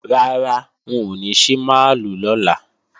Rárá, wọn ò ní ṣí máàlù lọ́la